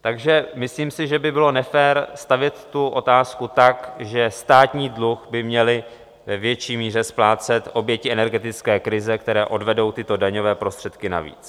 Takže myslím si, že by bylo nefér stavět tu otázku tak, že státní dluh by měly ve větší míře splácet oběti energetické krize, které odvedou tyto daňové prostředky navíc.